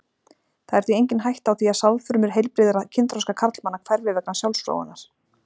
Það er því engin hætta á því að sáðfrumur heilbrigðra kynþroska karlmanna hverfi vegna sjálfsfróunar.